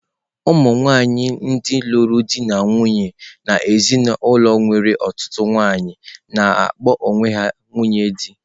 Ụmụ nwanyị ndị lụrụ di na nwunye n'ezinụlọ nwere ọtụtụ nwanyị na-akpọ ha onwe ha nwunye dị.